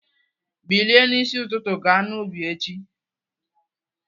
Bilie n'isi ụtụtụ ga n'ubi echi!